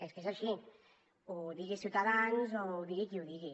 és que és així ho digui ciutadans o ho digui qui ho digui